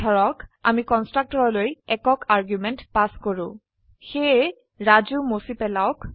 ধৰক আমি কন্সট্ৰকটৰলৈ একক আৰ্গুমেন্ট পাস কৰো সেয়ে ৰাজু মছি পেলাওক